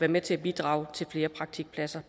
med til at bidrage til flere praktikpladser